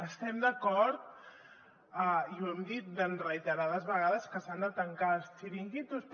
estem d’acord i ho hem dit reiterades vegades que s’han de tancar els xiringuitos